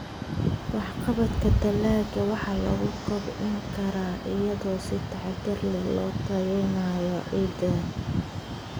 Waxqabadka dalagga waxa lagu kobcin karaa iyadoo si taxadar leh loo tayeynayo ciidda.